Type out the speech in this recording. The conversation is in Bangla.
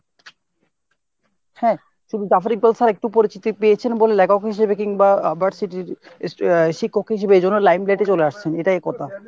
হ্যাঁ ? শুধু Zafar Iqbal স্যার একটু পরিচিতি পেয়েছেন বলে লেখক হিসেবে কিংবা আহ versity এর আহ শিক্ষক হিসেবে এইজন্য limelight এ চলে আসছেন এটাই কথা।